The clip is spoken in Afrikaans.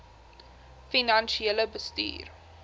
finansiële bestuur